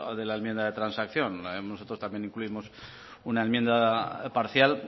de la enmienda de transacción nosotros también incluimos una enmienda parcial